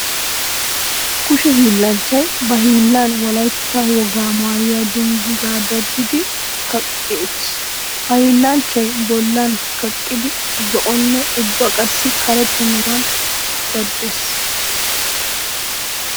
Kushe hiillanchchay ba hiillan wolaytta wogaa maayuwa dungguzaa daddidi kaqqi utiis. Ha hiillanchchay bollan kaqqidi zo'onne ubba qassi karetta meran daddees.